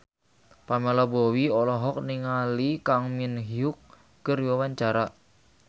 Pamela Bowie olohok ningali Kang Min Hyuk keur diwawancara